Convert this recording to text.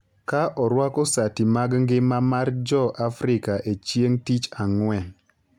ka orwako sati mag ngima mar Jo-Afrika e chieng’ tich Ang’wen